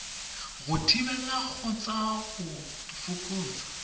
go thibela kgotsa go fokotsa